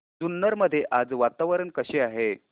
जुन्नर मध्ये आज वातावरण कसे आहे